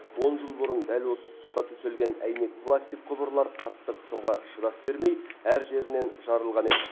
он жыл бұрын дәл осы тұсқа төселген әйнек пластик құбырлар қатты қысымға шыдас бермей әр жерінен жарылған еді